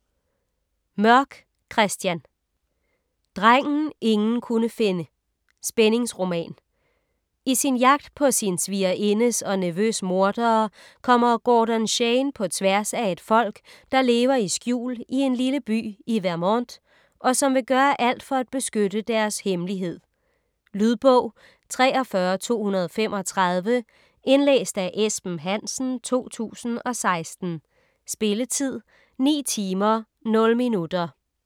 Mørk, Christian: Drengen ingen kunne finde: spændingsroman I sin jagt på sin svigerindes og nevøs mordere kommer Gordon Shane på tværs af et folk, der lever i skjul i en lille by i Vermont, og som vil gøre alt for at beskytte deres hemmelighed. Lydbog 43235 Indlæst af Esben Hansen, 2016. Spilletid: 9 timer, 0 minutter.